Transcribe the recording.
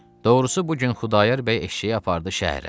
Doğrusu bu gün Xudayar bəy eşşəyi apardı şəhərə.